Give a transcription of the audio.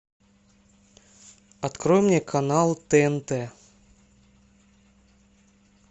открой мне канал тнт